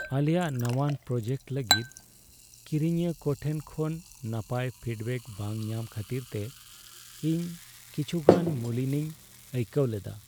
ᱟᱞᱮᱭᱟᱜ ᱱᱟᱶᱟᱱ ᱯᱨᱳᱰᱟᱠᱴ ᱞᱟᱹᱜᱤᱫ ᱠᱤᱨᱤᱧᱤᱭᱟᱹ ᱠᱚ ᱴᱷᱮᱱ ᱠᱷᱚᱱ ᱱᱟᱯᱟᱭ ᱯᱷᱤᱰᱵᱟᱠ ᱵᱟᱝ ᱧᱟᱢ ᱠᱷᱟᱹᱛᱤᱨᱛᱮ ᱤᱧ ᱠᱤᱪᱷᱩᱜᱟᱱ ᱢᱩᱞᱤᱱᱤᱧ ᱟᱹᱭᱠᱟᱹᱣ ᱞᱮᱫᱟ ᱾